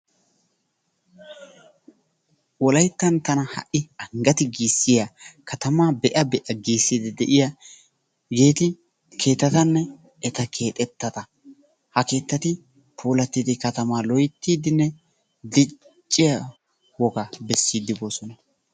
wollayttan tana ha'i anggaati giisiyaa katamaa be'a be'a giisiyaa giisidi de'iyaageti keettattanne eta keexxettata. ha keettati puulattidi katamaa loyttiidinne dicciyaa wogaa beessidi boosona.